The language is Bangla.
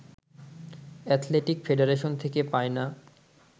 অ্যাথলেটিক ফেডারেশন থেকে পায় না